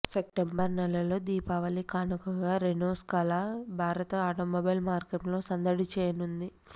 September నెలలో దీపావళి కానుకగా Renault Scala భారత ఆటోమొబైల్ మార్కెట్లో సందడి చేయనుంది